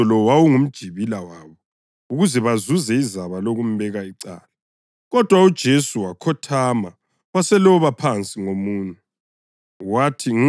Umbuzo lo wawungumjibila wabo ukuze bazuze izaba lokumbeka icala. Kodwa uJesu wakhothama waseloba phansi ngomunwe.